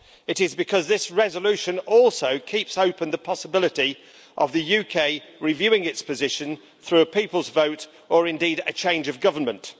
It is because this resolution also keeps open the possibility of the UK reviewing its position through a people's vote, or indeed a change of government.